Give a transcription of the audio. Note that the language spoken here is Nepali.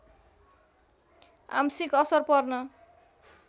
आंशिक असर पर्न